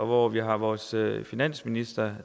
hvor vi har vores finansminister